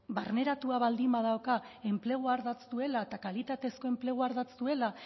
barneratua baldin badauka enplegua ardatz duela eta kalitatezko enplegua ardatz duela